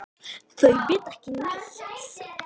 Þau vita ekki neitt.